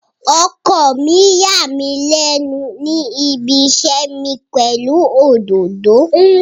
Ọkọ mi yà mí lẹ́nu ní ibiṣẹ́ mi pẹ̀lú òdòdó.